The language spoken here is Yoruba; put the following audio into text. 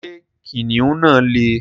Ṣé kìnnìún náà lè?